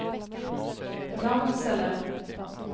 Ramsele